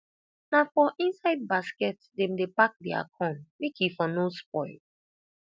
na for inside basket dem dey pack dia corn make e for no spoil